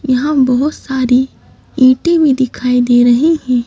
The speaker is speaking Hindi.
यहां बहोत सारी ईटी भी दिखाई दे रही हैं।